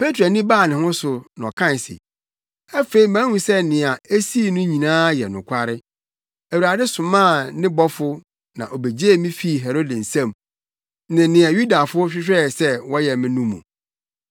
Petro ani baa ne ho so ma ɔkae se, “Afei mahu sɛ nea esii no nyinaa yɛ nokware! Awurade somaa ne bɔfo na obegyee me fii Herode nsam ne nea Yudafo hwehwɛe sɛ wɔyɛ me no mu.”